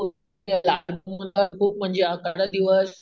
अकरा दिवस